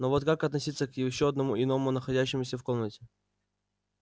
но вот как относиться к ещё одному иному находящемуся в комнате